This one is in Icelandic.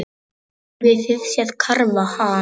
Hafið þið séð karfa, ha?